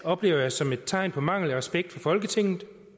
oplever jeg som et tegn på manglende respekt for folketinget